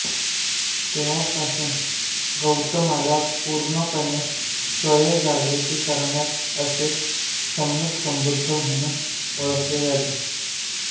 तेव्हापासून गौतमला परिपूर्णपणे स्वयं जागृत करणारा असे सम्यकसंबुद्ध म्हणून ओळखले जाते